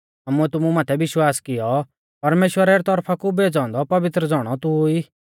आमुऐ तुमु माथै विश्वास कियौ और ज़ाणी गौऐ कि परमेश्‍वरा री तौरफा कु भेज़ौ औन्दौ पवित्र ज़ौणौ तू ई